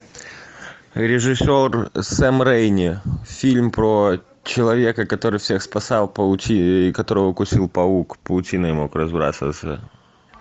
режиссер сэм рейми фильм про человека который всех спасал которого укусил паук паутиной мог разбрасываться